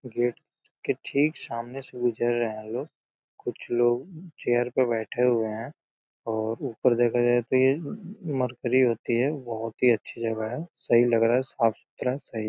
Gate के ठीक सामने से गुजर रहे हैं लोग। कुछ लोग चेयर पे बैठे हुए हैं और ऊपर देखा जाए तो ये मर्करी होती है बहोत ही अच्छी जगह है। सही लग रहा है। साफ़ सुथरा सही।